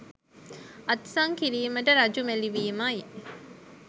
අත්සන් කිරීමට රජු මැළිවීමයි.